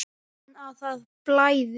Von að það blæði!